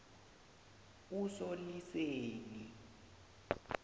usoliseni